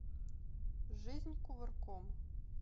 жизнь кувырком